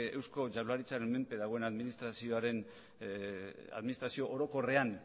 eusko jaurlaritzaren menpe dagoen administrazio orokorrean